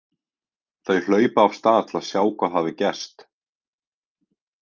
Þau hlaupa af stað til að sjá hvað hafi gerst.